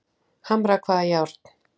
Hamra hvaða járn?